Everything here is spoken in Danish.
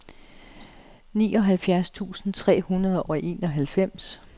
nioghalvfjerds tusind tre hundrede og enoghalvfems